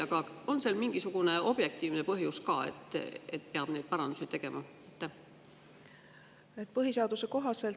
Aga on sel mingisugune objektiivne põhjus ka, et peab neid parandusi tegema?